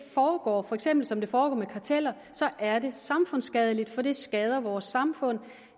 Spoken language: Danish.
foregår for eksempel som det foregår med karteller er det samfundsskadeligt for det skader vores samfund